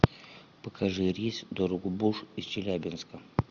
покажи рейс в дорогобуж из челябинска